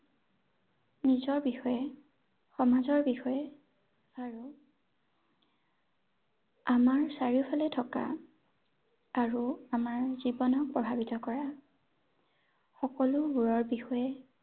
নিজৰ বিষয়ে, সমাজৰ বিষয়ে আৰু আমাৰ চাৰিওফালে থকা আৰু আমাৰ জীৱনক প্ৰভাৱিত কৰা সকলোবোৰৰ বিষয়ে